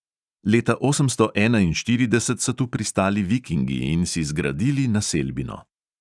Leta osemsto enainštirideset so tu pristali vikingi in si zgradili naselbino.